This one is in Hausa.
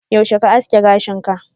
yaushe ka aske gashin ka?